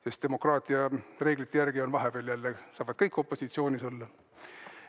Sest demokraatia reeglite järgi saavad vahepeal kõik opositsioonis olla.